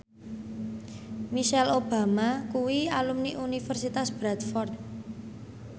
Michelle Obama kuwi alumni Universitas Bradford